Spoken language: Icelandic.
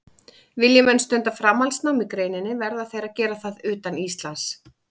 Vilji menn stunda framhaldsnám í greininni verða þeir að gera það utan Íslands.